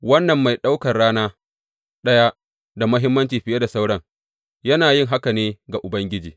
Wannan mai ɗaukan rana ɗaya da muhimmanci fiye da sauran, yana yin haka ne ga Ubangiji.